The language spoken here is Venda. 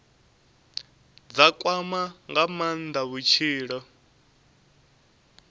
dza kwama nga maanda vhutshilo